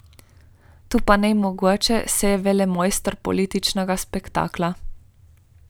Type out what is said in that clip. To pa ni mogoče, saj je velemojster političnega spektakla.